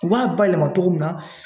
U b'a bayɛlɛma togo mun na